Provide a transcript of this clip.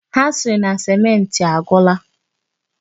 Ha siri na sèmenti agwụla.